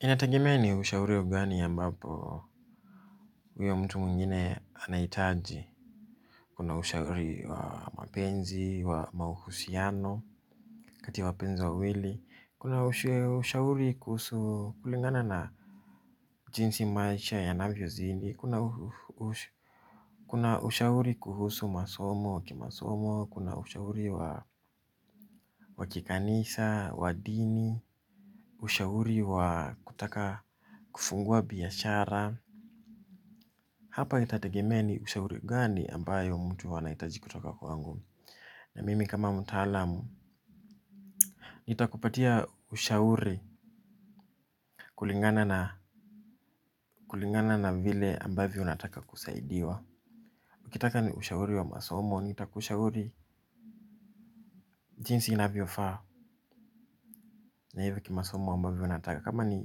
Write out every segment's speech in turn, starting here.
Inatagemea ni ushauri ugani ya mbapo huyo mtu mungine anaitaji. Kuna ushauri wa mapenzi, wa mauhusiano, kati wapenzi wa wili. Kuna ushauri kuhusu kulingana na jinsi maisha ya navyo zidi. Kuna ushauri kuhusu masomo wa kimasomo. Kuna unashauri wa kikanisa wa dini. Ushauri wa kutaka kufungua biyashara. Hapa itategemea ni ushauri gani ambayo mtu anaitaji kutoka kwangu. Na mimi kama mtalamu nitakupatia ushauri kulingana na vile ambavio unataka kusaidiwa ukitaka ni ushauri wa masomo, nitakushauri jinsi inaviofa. Na hivyo kimasomo ambavio unataka kama ni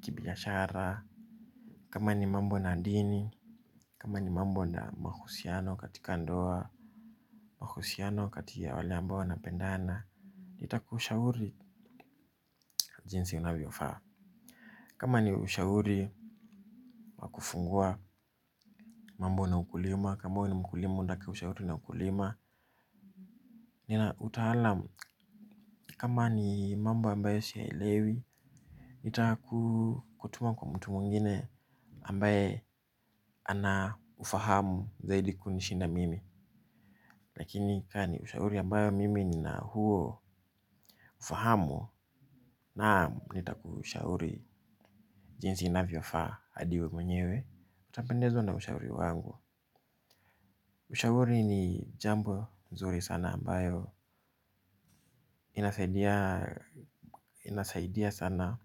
kibiyashara, kama ni mambo na adini kama ni mambo na mahusiano katika ndoa. Mahusiano katika wale ambao wanapendana. Nita kushauri jinsi unavyo faa. Kama ni ushauri kufungua mambo na ukulima. Kama ni mkulima undaka ushauri na ukulima. Nina utahalam kama ni mambo ambayo shielewi. Nita kutuma kwa mtu mwengine ambaye anafahamu zaidi kunishinda mimi. Lakini kani ushauri ambayo mimi nina huo ufahamu. Nam nitakushauri jinsi unavyo faa adi we mwenyewe utapendezwa na ushauri wangu. Ushauri ni jambo mzuri sana ambayo inasaidia sana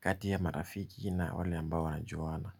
katia ya marafiki na wale ambayo wa na juwana.